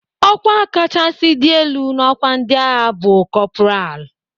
Ọkwa kachasị dị ala n'ọkwa ndị agha bụ kọpral.